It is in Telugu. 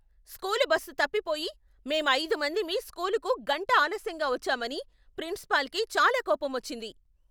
స్కూలు బస్సు తప్పిపోయి, మేం ఐదు మందిమి స్కూలుకు గంట ఆలస్యంగా వచ్చామని ప్రిన్సిపాల్కి చాలా కోపమొచ్చింది.